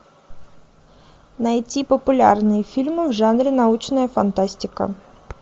найти популярные фильмы в жанре научная фантастика